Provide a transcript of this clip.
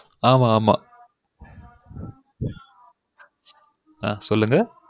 ஆமா ஆமா சொல்லுங்க